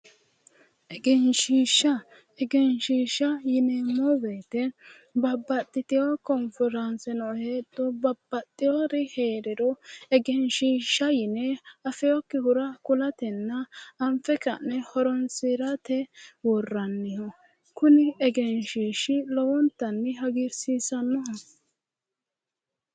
Egenshiishsha. Egenshiishsha yineemmo woyite babbaxxitiwo konforaanseno heedho babbaxxiwori heeriro egenshiishsha yine afiwokkihura kulatenna anfe ka'ne horoonsirate worranniho. Kuni egenshiishshi lowontanni hagiirsiisannoho.